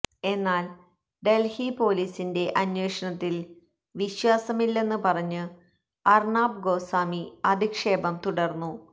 എന്നാല് ഡല്ഹി പോലീസിന്െ്റ അന്വേഷണത്തില് വിശ്വാസമില്ലെന്ന് പറഞ്ഞു അര്ണാബ് ഗോസ്വാമി അധിക്ഷേപം തുടര്ന്നു